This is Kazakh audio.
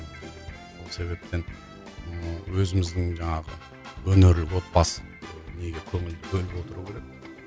сол себептен ыыы өзіміздің жаңағы өнерлі отбасы көңіл бөліп отыру керек